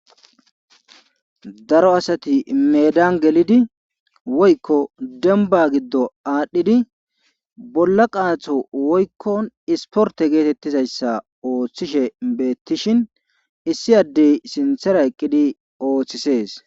Daro asati meedan gelidi woykko dembba giddo aadhidi bolla qaatho woykkon isppprtte geetettizayssa oothishe beeththishin issi addey sinthera eqqidi oothisees.